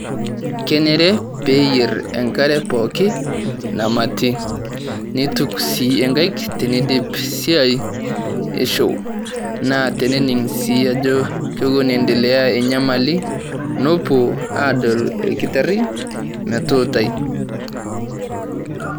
Kenyeere pee eiyeer enkaree pooki namaati. Neetuk si ankaiik tenediip siai eshoo. Naa tenening' si ajo kewuon aendelea nyamali nepoo adool illnkitaari metuutai.